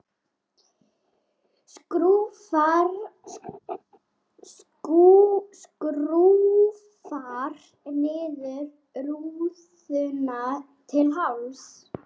Skrúfar niður rúðuna til hálfs.